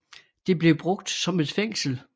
Det blev brugt som et fængsel